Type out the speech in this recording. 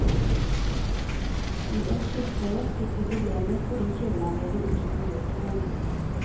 I ett tilfelle fikk vi problemer fordi kjøleanlegget ikke fungerte på en bil.